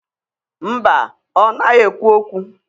Mba, ọ naghị ekwu okwu.